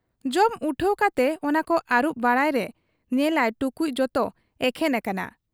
ᱡᱚᱢ ᱩᱴᱷᱟᱹᱣ ᱠᱟᱛᱮ ᱚᱱᱟᱠᱚ ᱟᱹᱨᱩᱵ ᱵᱟᱲᱟᱭᱨᱮ ᱧᱮᱞᱟᱭ ᱴᱩᱠᱩᱡ ᱡᱚᱛᱚ ᱮᱠᱷᱮᱱ ᱟᱠᱟᱱᱟ ᱾